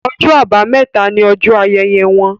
Ọjọ́ Àbàmẹ́ta ní ojó ayẹyẹ wón